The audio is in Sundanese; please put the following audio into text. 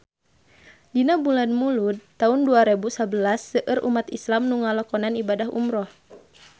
Dina bulan Mulud taun dua rebu sabelas seueur umat islam nu ngalakonan ibadah umrah